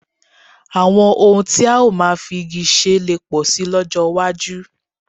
Àwọn ohun tí a ó máa fi igi ṣe lè pọ̀ síi lọ́jọ́ iwájú